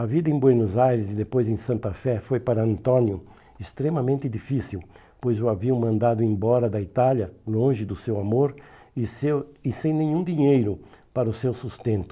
A vida em Buenos Aires e depois em Santa Fé foi para Antônio extremamente difícil, pois o haviam mandado embora da Itália, longe do seu amor e seu e sem nenhum dinheiro para o seu sustento.